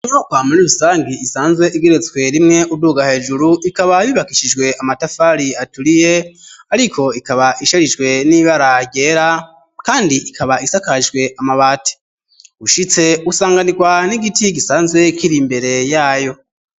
inyubako muri rusangi isanzwe igeretswe rimwe uduga hejuru ikaba yubakishijwe amatafari aturiye ariko ikaba isharijwe n'ibara ryera kandi ikaba isakajwe amabati, ushitse usanganirwa n'igiti gisanzwe kiri imbere yayo.